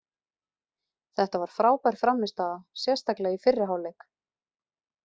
Þetta var frábær frammistaða sérstaklega í fyrri hálfleik.